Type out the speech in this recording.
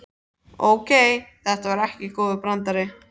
Ókei, þetta var ekki góður brandari.